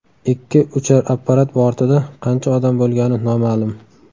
Ikki uchar apparat bortida qancha odam bo‘lgani noma’lum.